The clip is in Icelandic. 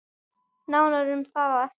Nánar um það á eftir.